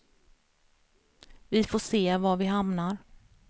Vi får se var vi hamnar.